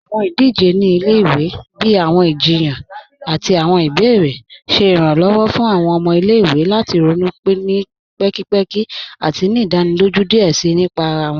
Awọn idije ni ilẹ̀-iwe, bíi awọn ìjìyàn àti awọn ìbèèrè, ṣẹ Ìrànlọ́wọ́ fún awọn ọmọ ilẹ̀-iwe lati ronú ni pẹ̀kìpẹ̀kì àti ni ìdánílójú díẹ̀ síí nípà ara wọn.